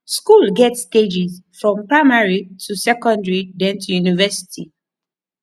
school get stages from primary to secondary then to university